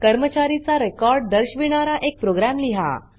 कर्मचारीचा record दर्शविणारा एक program लिहा